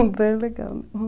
É bem legal.